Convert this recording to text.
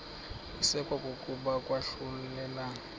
isekwa kokuya kwahlulelana